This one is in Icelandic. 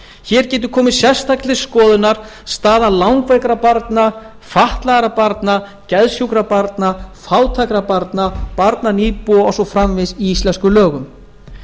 hér getur komið sérstaklega til skoðunar staða langveikra barna fatlaðra barna geðsjúkra barna og fátækra barna og barna nýbúa og svo framvegis í íslenskum lögum